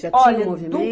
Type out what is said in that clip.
Já tinha um movimen